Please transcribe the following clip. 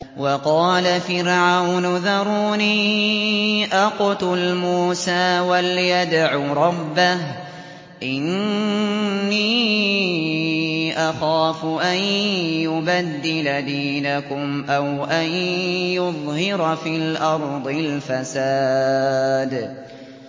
وَقَالَ فِرْعَوْنُ ذَرُونِي أَقْتُلْ مُوسَىٰ وَلْيَدْعُ رَبَّهُ ۖ إِنِّي أَخَافُ أَن يُبَدِّلَ دِينَكُمْ أَوْ أَن يُظْهِرَ فِي الْأَرْضِ الْفَسَادَ